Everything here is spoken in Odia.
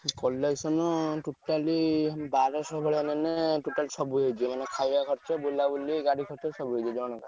Collection totally ବାରସହ ମାନେ totally ସବୁ ହେଇଯିବ ମାନେ ଖାଇବା ଖର୍ଚ୍ଚ ବୁଲାବୁଲି ଗାଡି ଖର୍ଚ୍ଚ ସବୁ ହେଇଯିବ ଜଣକା।